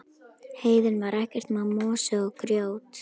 Heiðin var ekkert nema mosi og grjót.